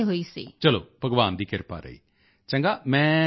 ਚਲੋ ਭਗਵਾਨ ਦੀ ਕ੍ਰਿਪਾ ਰਹੀ ਚੰਗਾ ਮੈਂ ਚਾਹਾਂਗਾ